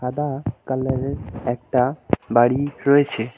সাদা কালারের একটা বাড়ি রয়েছে।